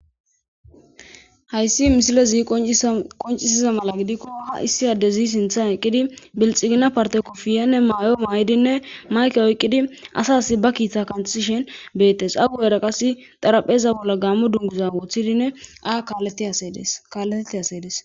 Hayssi misile zii qoncisiza mala gidikko ha issi ade zi sinthan eqqidi bilxigina parte kofiyenne maayo maayidinne mayke oyqqidi asaas ba kiiththa kanthishen beettes agu eraqas xarapheza bolla gammo dunguza woththidinne aa kalletete asedes.